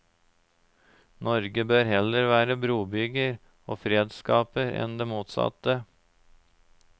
Norge bør heller være brobygger og fredsskaper enn det motsatte.